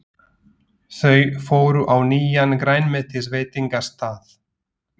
Þau fóru á nýjan grænmetisveitingastað.